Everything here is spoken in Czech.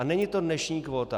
A není to dnešní kvóta.